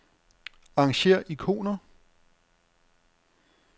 Arrangér ikoner.